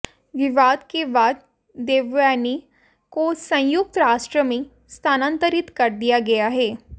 विवाद के बाद देवयानी को संयुक्त राष्ट्र में स्थानांतरित कर दिया गया है